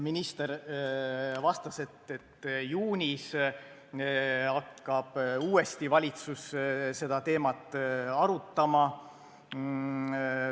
Minister vastas, et juunis hakkab valitsus uuesti seda teemat arutama.